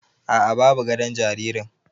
Aa, babu gadon jaririn